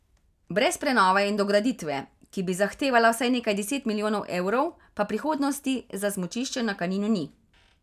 Brez prenove in dograditve, ki bi zahtevala vsaj nekaj deset milijonov evrov, pa prihodnosti za smučišče na Kaninu ni.